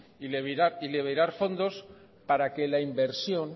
y liberar fondos para que la inversión